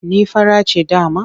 Ni fara ce dama.